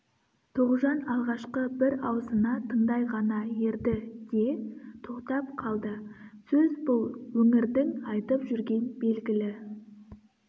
тоғжан алғашқы бір аузына тыңдай ғана ерді де тоқтап қалды сөз бұл өңірдің айтып жүрген белгілі